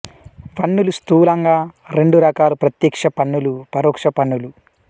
వన్నులు స్థూలంగా రెండు రకాలు ప్రత్యక్ష పన్నులు పరోక్ష పన్నులు